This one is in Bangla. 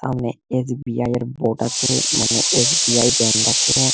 সামনে এস.বি.আই. এর বোর্ড আছে। মানে এ এস.বি.আই. ব্যাঙ্ক আছে।